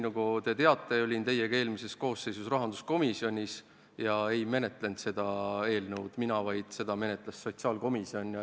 Nagu te teate, olin teiega eelmise koosseisu ajal rahanduskomisjonis ja seda eelnõu ei menetlenud mitte mina, vaid seda menetles sotsiaalkomisjon.